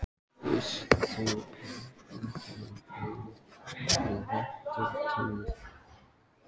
Uss, þú í bækurnar rýnir og vitglórunni týnir.